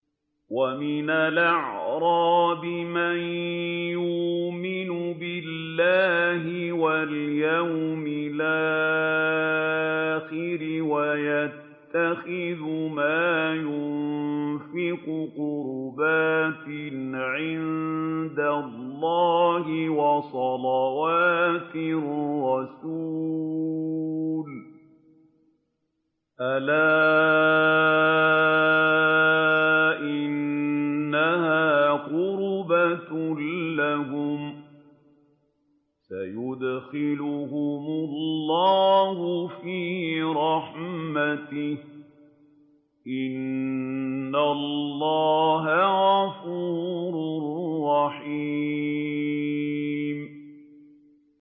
وَمِنَ الْأَعْرَابِ مَن يُؤْمِنُ بِاللَّهِ وَالْيَوْمِ الْآخِرِ وَيَتَّخِذُ مَا يُنفِقُ قُرُبَاتٍ عِندَ اللَّهِ وَصَلَوَاتِ الرَّسُولِ ۚ أَلَا إِنَّهَا قُرْبَةٌ لَّهُمْ ۚ سَيُدْخِلُهُمُ اللَّهُ فِي رَحْمَتِهِ ۗ إِنَّ اللَّهَ غَفُورٌ رَّحِيمٌ